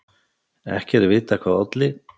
Ekki er vitað hvað olli.